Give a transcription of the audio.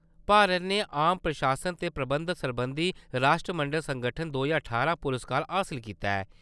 भारत ने आम प्रशासन ते प्रबंधन सरबंधी राश्ट्रमंडल संगठन दो ज्हार ठारां पुरस्कार हासल कीता ऐ।